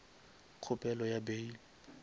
kgopelo ya bail